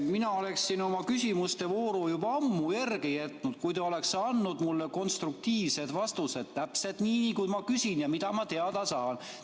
Mina oleksin oma küsimuste vooru juba ammu järele jätnud, kui te oleks andnud mulle konstruktiivsed vastused, täpselt nii, kui ma küsin ja mida ma teada tahan.